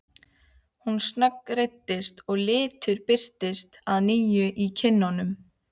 Hún snöggreiddist og litur birtist að nýju í kinnunum.